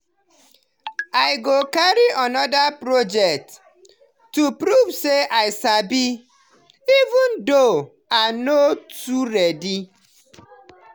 i go carry another project to prove say i sabi even though i no too ready.